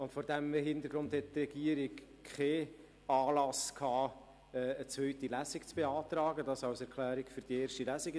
Vor diesem Hintergrund sah die Regierung keinen Anlass, eine zweite Lesung zu beantragen – dies als Erklärung für die erste Lesung.